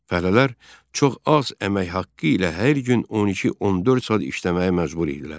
Fəhlələr çox az əmək haqqı ilə hər gün 12-14 saat işləməyə məcbur idilər.